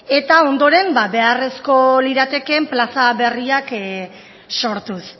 eta ondoren beharrezkoak liratekeen plaza berriak sortuz